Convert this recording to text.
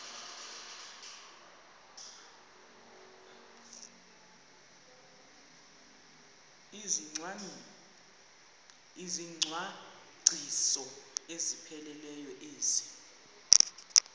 izicwangciso ezipheleleyo ezi